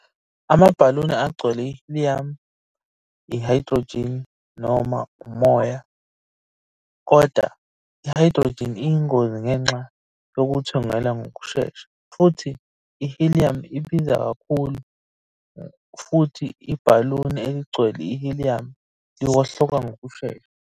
Amabhaluni agcwele i-helium, i-hydrogen noma umoya, kodwa i-hydrogen iyingozi ngenxa yokuthungela ngokushesha futhi i-helium ibiza kakhulu futhi ibhaluni eligcwele i-helium liwohloka ngokushesha.